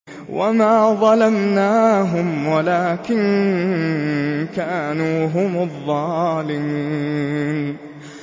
وَمَا ظَلَمْنَاهُمْ وَلَٰكِن كَانُوا هُمُ الظَّالِمِينَ